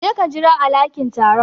Je ka jira a lakin taro.